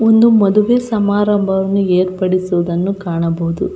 ಒಂದು ಮದುವೆ ಸಮಾರಂಭವನ್ನು ಏರ್ಪಡಿಸಿರುವುದನ್ನು ಕಾಣಬಹುದು.